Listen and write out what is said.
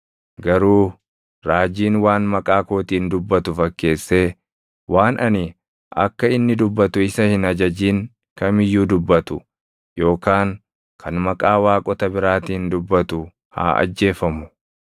Garuu raajiin waan maqaa kootiin dubbatu fakkeessee waan ani akka inni dubbatu isa hin ajajin kam iyyuu dubbatu yookaan kan maqaa waaqota biraatiin dubbatu haa ajjeefamu.”